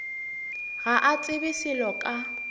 ga a tsebe selo ka